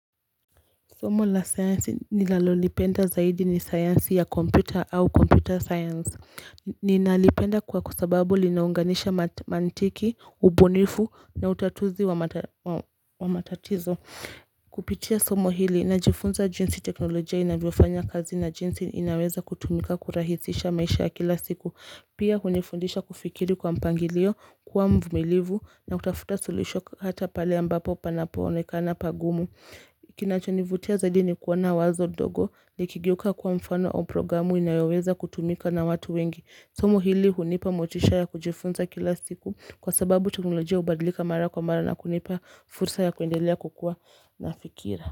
Somo la sayansi nilalolipenda zaidi ni sayansi ya computer au computer science Ninalipenda kwa kusababu linaunganisha mantiki, ubunifu na utatuzi wa matatizo Kupitia somo hili, najifunza jinsi teknolojia inavyofanya kazi na jinsi inaweza kutumika kurahisisha maisha ya kila siku Pia hunifundisha kufikiri kwa mpangilio, kuwa mvumilivu na kutafuta suluhisho hata pale ambapo panapo onekana pagumu kinachonivutia zaidi nikuona wazo ndogo likigeuka kuwa mfano au programu inayoweza kutumika na watu wengi somo hili hunipa motisha ya kujifunza kila siku kwa sababu teknolojia hubadilika mara kwa mara na kunipa fursa ya kuendelea kukua na fikira.